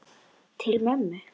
Til mömmu.